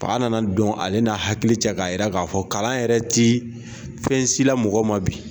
Pa nana don ale n'a hakili cɛ k'a yira k'a fɔ kalan yɛrɛ tɛ fɛnsila mɔgɔ ma bi.